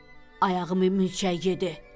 Ayağımı mülçək yedi!